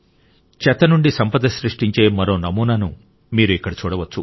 చెత్త నుండి సంపద సృష్టించే మరో నమూనాను మీరు ఇక్కడ చూడవచ్చు